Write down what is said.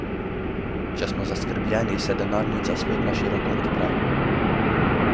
Če smo zaskrbljeni, se denarnica spet na široko odpre.